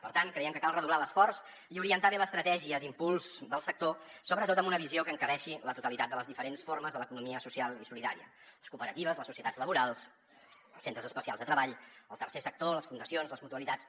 per tant creiem que cal redoblar l’esforç i orientar bé l’estratègia d’impuls del sector sobretot amb una visió que encabeixi la totalitat de les diferents formes de l’economia social i solidària les cooperatives les societats laborals els centres especials de treball el tercer sector les fundacions les mutualitats